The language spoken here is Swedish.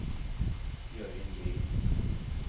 Jörgen Green